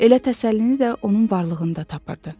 Elə təsəllini də onun varlığında tapırdı.